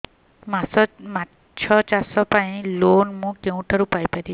ମାଛ ଚାଷ ପାଇଁ ଲୋନ୍ ମୁଁ କେଉଁଠାରୁ ପାଇପାରିବି